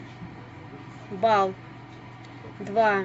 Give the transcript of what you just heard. бал два